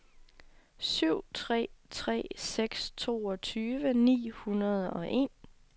syv tre tre seks toogtyve ni hundrede og en